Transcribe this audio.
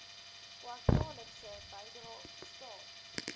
kwartaallikse bydrae staat